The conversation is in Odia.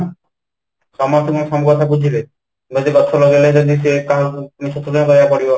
ସମସ୍ତେ କ'ଣ ସବୁ କଥା ବୁଝିବେ ? ଯଦି ଗଛ ଲଗେଇଲେ ରହିବାକୁ ପଡିବ